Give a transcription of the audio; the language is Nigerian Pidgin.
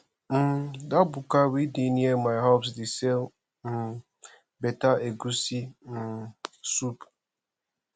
um dat buka wey dey near my house dey sell um beta egusi um soup